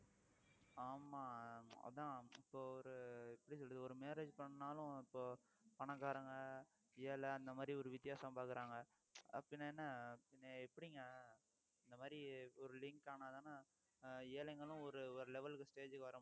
ஆமா அதான் இப்போ ஒரு எப்படி சொல்றது ஒரு marriage பண்ணாலும் இப்போ பணக்காரங்க ஏழை அந்த மாதிரி ஒரு வித்தியாசம் பார்க்கிறாங்க அப்படீன்னா என்ன பின்ன எப்படிங்க இந்த மாதிரி ஒரு link ஆனாதான ஆஹ் ஏழைகளும் ஒரு ஒரு level க்கு stage க்கு வர